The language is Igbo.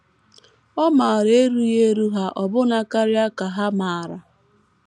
Ọ maara erughị eru ha ọbụna karịa ka ha maara.